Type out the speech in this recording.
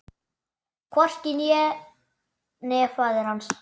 Hvorki ég né faðir hans.